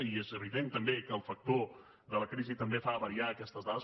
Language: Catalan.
i és evident també que el factor de la crisi també fa variar aquestes dades